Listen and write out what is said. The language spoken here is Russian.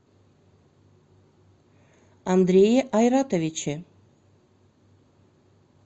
андрее айратовиче